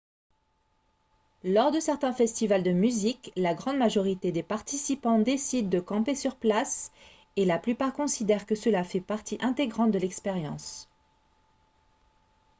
lors de certains festivals de musique la grande majorité des participants décident de camper sur place et la plupart considèrent que cela fait partie intégrante de l'expérience